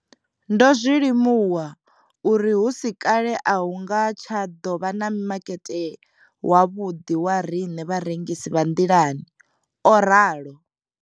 Ndo ḓo zwi limuwa uri hu si kale a hu nga tsha ḓo vha na makete wavhuḓi wa riṋe vharengisi vha nḓilani o ralo.